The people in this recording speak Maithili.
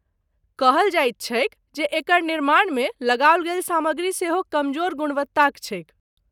कहल जाइत छैक जे एकर निर्माणमे लगाओल गेल सामग्री सेहो कमजोर गुणवत्ताक छैक।